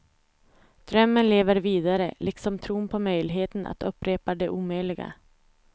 Drömmen lever vidare, liksom tron på möjligheten att upprepa det omöjliga.